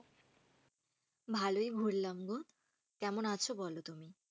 ভালোই ঘুরলাম গো। কেমন আছো বলো তুমি?